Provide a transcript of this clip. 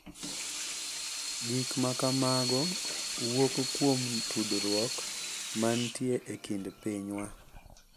Gik ma kamago wuok kuom tudruok ma nitie e kind pinywa,